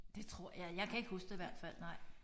Det tror jeg jeg kan ikke huske det i hvert fald nej